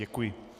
Děkuji.